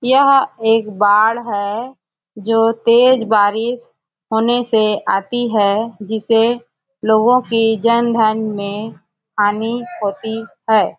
यह एक बाढ़ है जो तेज बारिश होने से आती है जिससे लोगों की जन धन में हानि होती है ।